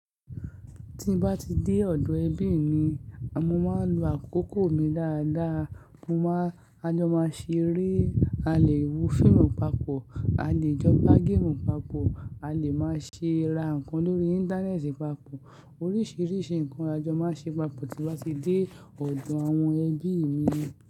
Tí n bá ti dé ọ̀dọ̀ ẹbí mi, mo máa ń lo àkókò mi dáadáa. Mo máa ń ajó máa ṣe rí, a lè wo fíìmù papọ̀, a lè jọ gbá géèmù papọ̀, a lè máa ṣe ra nǹkan lórí Íńtánẹ́ẹ̀tì papọ̀, oríṣìíríṣìí nǹkan lajó máa ṣe papọ̀ tí n bá ti dé ọ̀dọ̀ àwọn ẹbí mi.